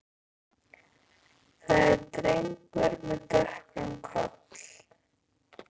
Það er drengur með dökkan koll.